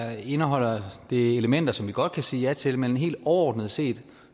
her indeholder elementer som vi godt kan sige ja til men helt overordnet set